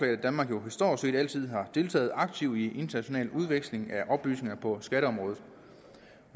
at danmark jo stort set altid har deltaget aktivt i international udveksling af oplysninger på skatteområdet